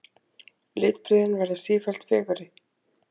Litbrigðin verða sífellt fegurri.